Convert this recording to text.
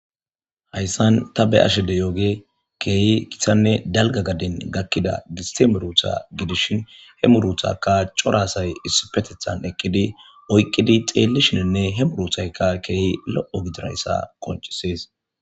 Hayssan ta be ashede yooge keehi githanne dalga gaden gakkida gistemerutha gidishin he muruthaka corasay issipetethan eqqidi oyqqidi xeellishinenne he muruthaykka keehi lo'o gidirayssa qoncisees